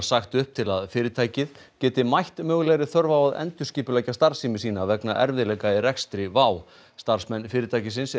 sagt upp til að fyrirtækið geti mætt mögulegri þörf á að endurskipuleggja starfsemi sína vegna erfiðleika í rekstri WOW starfsmenn fyrirtækisins